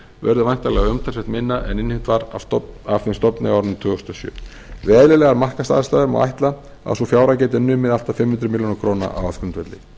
verður væntanlega umtalsvert minna en innheimt var af þeim stofni á árinu tvö þúsund og sjö við eðlilegar markaðsástæður má ætla að sú fjárhæð geti numið allt að fimm hundruð milljóna króna á ársgrundvelli